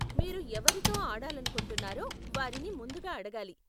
మీరు ఎవరితో ఆడాలనుకుంటున్నారో వారిని ముందుగా అడగాలి.